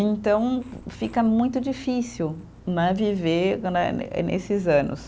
Então, fica muito difícil né, viver né, eh nesses anos.